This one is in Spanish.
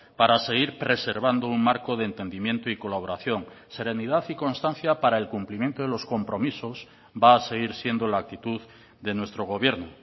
para seguir preservando un marco de entendimiento y colaboración serenidad y constancia para el cumplimiento de los compromisos va a seguir siendo la actitud de nuestro gobierno